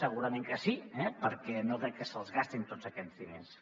segurament que sí eh perquè no crec que se’ls gastin tots aquests diners